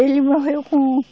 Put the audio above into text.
Ele morreu com